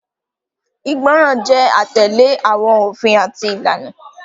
Igbọran jẹ atẹle awọn ofin ati ilana.